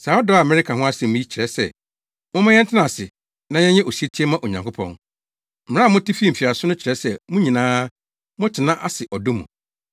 Saa ɔdɔ a mereka ho asɛm yi kyerɛ sɛ momma yɛntena ase na yɛnyɛ osetie mma Onyankopɔn. Mmara a mote fii mfiase no kyerɛ sɛ mo nyinaa, montena ase ɔdɔ mu.